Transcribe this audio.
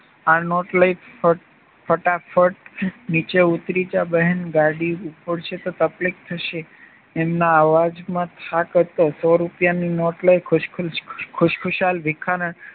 આ નોટ લય ફટાફટ નીચે ઉતારી જા બહેન ગાડી ઉપાડશે તો તકલીફ થશે એમના અવાજમાં થાક હતો સો રૂપિયાની નોટ લઇ ખુશખુશાલ ભિખારણ